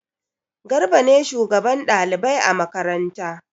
Garba ne shugaban ɗalibai a makaranta.